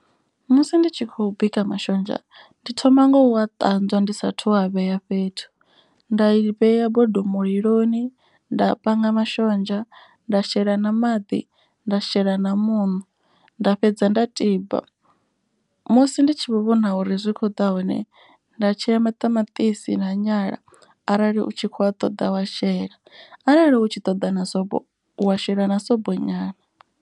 Musi ndi tshi khou bika mashonzha ndi thoma ngo u a ṱanzwa ndi sathu a vhea fhethu. Nda i vhea bodo muliloni nda panga mashonzha nda shela na maḓi nda shela na muṋo. Nda fhedza nda tiba musi ndi tshi vhona uri zwi kho ḓa hone nda tshea maṱamaṱisi na nyala. Arali u tshi khou a ṱoḓa wa shela arali u tshi ṱoḓa na sobo u wa shela na sobo nyana.